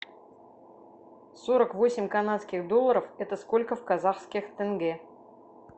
сорок восемь канадских долларов это сколько в казахских тенге